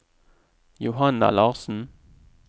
Johanna Larssen